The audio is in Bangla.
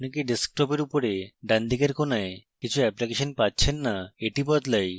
আমরা কি ডেস্কটপের উপরে ডানদিকের কোণায় কিছু অ্যাপ্লিকেশন পাচ্ছেন না এটি বদলাই